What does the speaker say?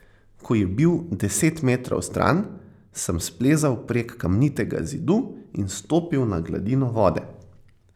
Ko je bil deset metrov stran, sem splezal prek kamnitega zidu in stopil na gladino vode.